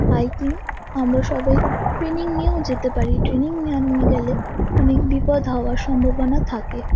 Hiking আমরা সবাই training নিয়েও যেতে পারিট্রেনিং না নিয়ে গেলে অনেক বিপদ হওয়ার সম্ভাবনা থাকে ।